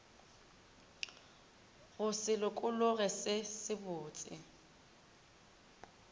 go se lokologe se sebotse